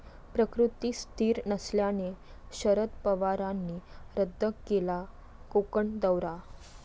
प्रकृती स्थिर नसल्याने शरद पवारांनी रद्द केला कोकण दौरा